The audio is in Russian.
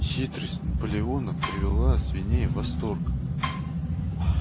хитрость наполеона привела свиней в восторг